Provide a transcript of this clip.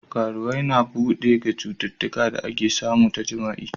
Karuwwai na bude ga citutuka da ake samu ta jima'i.